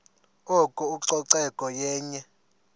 oko ucoceko yenye